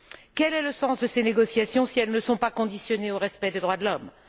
Quel est le sens de ces négociations si elles ne sont pas conditionnées au respect des droits de l'homme?